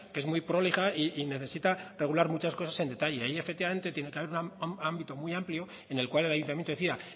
que es muy prolija y necesita regular muchas cosas en detalle ahí efectivamente tiene que haber un ámbito muy amplio en el cual el ayuntamiento decida